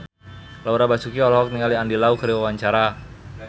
Laura Basuki olohok ningali Andy Lau keur diwawancara